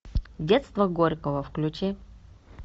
детство горького включи